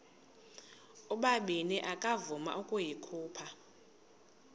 ubabini akavuma ukuyikhupha